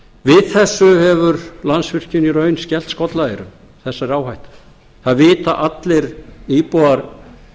við þessu hefur landsvirkjun í raun skellt skollaeyrum þessari áhættu það vita allir íbúar